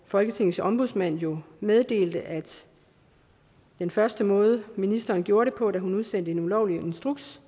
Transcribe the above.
folketingets ombudsmand jo meddelte at den første måde ministeren gjorde det på da hun udsendte en ulovlig instruks